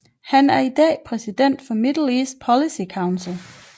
Han er i dag præsident for Middle East Policy Council